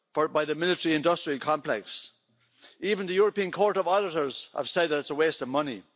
by the military industrial complex. Even the European Court of Auditors have said that it is a waste of money.